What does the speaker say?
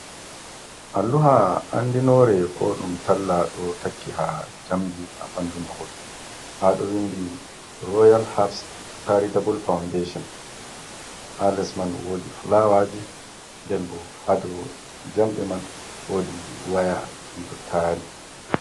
Alluha andinoore, ko ɗum talla ɗo takki ha njamdi ha ɓandu mahol. Ha ɗo windi royal habs caritabul faundeshon ha les man woodi fulawaaji, nɗen bo ha dou jamɗe man woodi waya, ɗum ɗo taari.